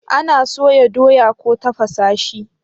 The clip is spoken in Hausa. ana soya doya ko tafasa shi